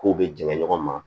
K'u bɛ jɛŋɛ ɲɔgɔn ma